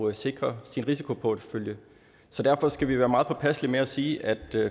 at sikre sin risikoportefølje og derfor skal vi være meget påpasselige med at sige at vi